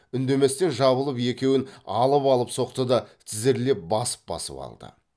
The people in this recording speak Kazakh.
үндеместен жабылып екеуін алып алып соқты да тізерлеп басып басып алды